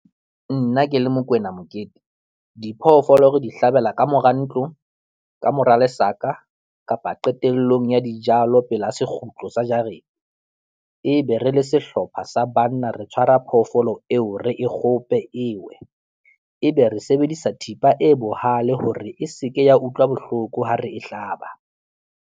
Nna ke le Mokoena Mokete, diphoofolo re di hlabela ka mora ntlo, ka mora lesaka kapa qetellong ya dijalo pela sekgutlo sa jarete ebe re le sehlopha sa banna re tshwara phoofolo eo re e kgope e we ebe re sebedisa thipa e bohale hore e seke ya utlwa bohloko ha re e hlaba.